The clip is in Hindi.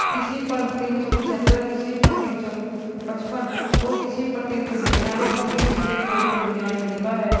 किसी पर तीन सौ पच्हतर किसी पर तीन सौ पचपन और किसी पर तीन सौ नीन्यानबे और किसी पे दो सौ नीन्यानबे लिखा है।